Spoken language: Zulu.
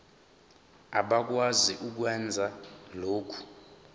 abakwazi ukwenza lokhu